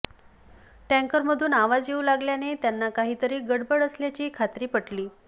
टँकरमधून आवाज येऊ लागल्याने त्यांना काहीतरी गडबड असल्याची खात्री पटली